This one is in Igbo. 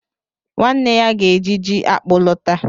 Nwanne ya ga-eji ji akpu lọta.